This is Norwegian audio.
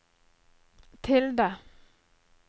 tilde